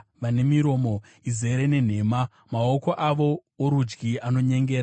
vane miromo izere nenhema, maoko avo orudyi anonyengera.